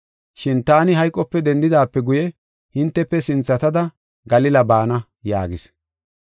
Shin taani hayqope dendidaape guye, hintefe sinthatada Galila baana” yaagis.